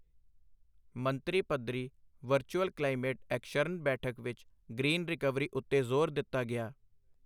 ਮੰਤਰੀ ਪੱਧਰੀ virtual climate action ਬੈਠਕ ਵਿੱਚ ਗ੍ਰੀਨ ਰਿਕਵਰੀ ਉੱਤੇ ਜ਼ੋਰ ਦਿੱਤਾ ਗਿਆ।